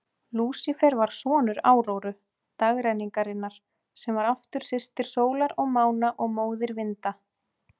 Lúsífer var sonur Áróru, dagrenningarinnar, sem var aftur systir sólar og mána og móðir vinda.